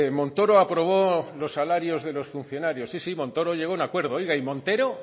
montoro aprobó los salarios de los funcionarios sí sí montoro llegó a un acuerdo oiga y montero